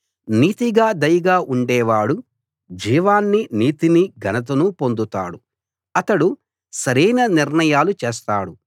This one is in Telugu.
నీతిగా దయగా ఉండే వాడు జీవాన్ని నీతిని ఘనతను పొందుతాడు అతడు సరైన నిర్ణయాలు చేస్తాడు